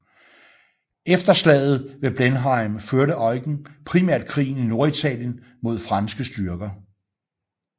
Efter slaget ved Blenheim førte Eugen primært krigen i Norditalien mod franske styrker